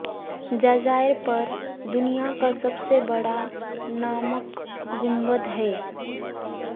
جزیرے پر دنیا کا سب سے بڑا نمک گنبد ہے